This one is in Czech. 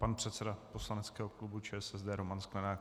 Pan předseda poslaneckého klubu ČSSD Roman Sklenák.